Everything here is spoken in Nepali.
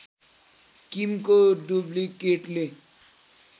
किमको डुब्लिकेटले